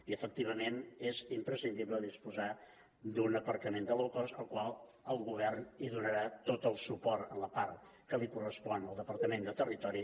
i és imprescindible disposar d’un aparcament low cost al qual el govern donarà tot el suport en la part que correspon al departament de territori